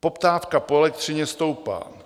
Poptávka po elektřině stoupá.